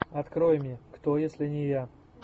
открой мне кто если не я